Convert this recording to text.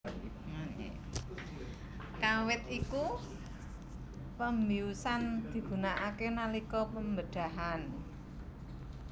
Kawit iku pembiusan digunakake nalika pembedhahan